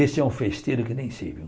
Esse é um festeiro que nem sei, viu?